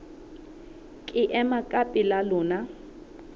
ke ema ka pela lona